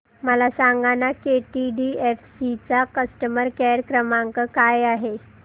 मला सांगाना केटीडीएफसी चा कस्टमर केअर क्रमांक काय आहे